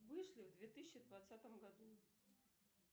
вышли в две тысячи двадцатом году